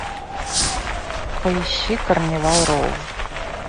поищи карнивал роу